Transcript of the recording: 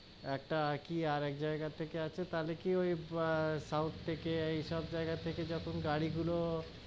একটা কি আর জায়গা থেকে আছে তাহলে কি ওই আহ সাউথ থেকে এই সব জায়গা থেকে যখন গাড়ি গুলো,